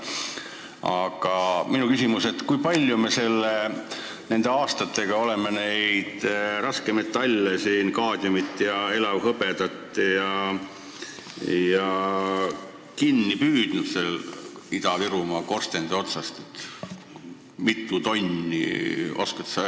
Aga minu küsimus on: kui palju me nende aastatega oleme neid raskmetalle, kaadmiumi ja elavhõbedat Ida-Virumaa korstende otsast kinni püüdnud?